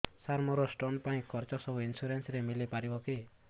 ସାର ମୋର ସ୍ଟୋନ ପାଇଁ ଖର୍ଚ୍ଚ ସବୁ ଇନ୍ସୁରେନ୍ସ ରେ ମିଳି ପାରିବ କି